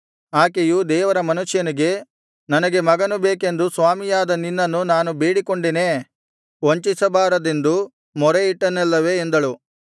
ಆಕೆಯು ದೇವರ ಮನುಷ್ಯನಿಗೆ ನನಗೆ ಮಗನು ಬೇಕೆಂದು ಸ್ವಾಮಿಯಾದ ನಿನ್ನನ್ನು ನಾನು ಬೇಡಿಕೊಂಡೆನೇ ವಂಚಿಸಬಾರದೆಂದು ಮೊರೆಯಿಟ್ಟೆನಲ್ಲವೇ ಎಂದಳು